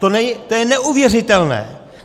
To je neuvěřitelné!